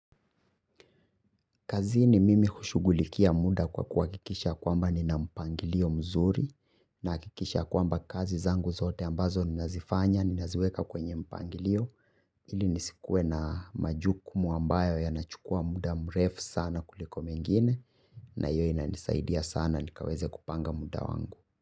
Kazi ni mimi hushugulikia muda kwa kuha kikisha kwamba nina mpangilio mzuri naha kikisha kwamba kazi zangu zote ambazo nina zifanya, nina ziweka kwenye mpangilio. Ili nisikuwe na majukumu ambayo yanachukua muda mrefu sana kuliko mengine.